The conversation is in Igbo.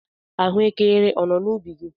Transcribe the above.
Ahụekere ọ nọ n'ubi gị?